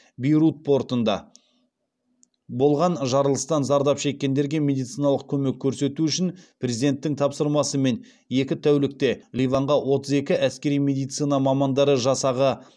бейрут портында болған жарылыстан зардап шеккендерге медициналық көмек көрсету үшін президенттің тапсырмасымен екі тәулікте ливанға отыз екі әскери медицина мамандары жасағы